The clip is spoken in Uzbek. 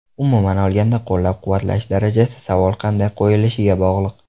Umuman olganda, qo‘llab-quvvatlash darajasi savol qanday qo‘yilishiga bog‘liq.